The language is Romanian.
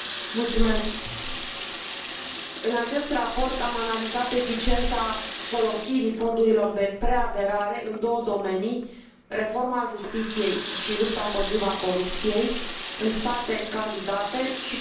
În acest raport am analizat eficiența folosirii fondurilor de preaderare în două domenii, reforma justiției și lupta împotriva corupției, în state candidate și potențial candidate la Uniunea Europeană.